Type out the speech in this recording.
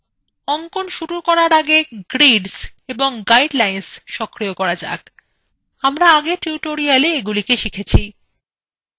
অঙ্কন শুরু করার আগে grids এবং গাইডলাইনস সক্রিয় করা যাক আমরা আগের tutorialswe এগুলি দেখেছি